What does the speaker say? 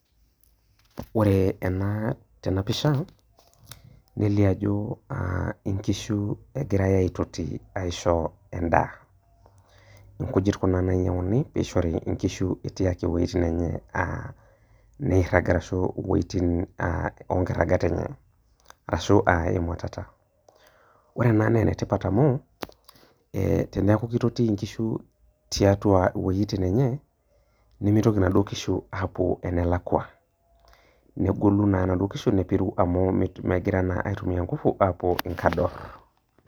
Ore ena tenapisha neliobajo nkishu egirai aitoti aisho endaa ,rkujit kuna oinyanguni peishori nkishu etii ake wuejitin enye niragita ashu onkirqgat enye ashu emuatata, ore ena na enetipat amu e teniaku kitoti nkishu tiatua wuejitin enye nimitoki apuo enalakwa negolu na nona kishu nepiru amu mitoki naa apuo enelakwa aitumia nkufu apuo nkador.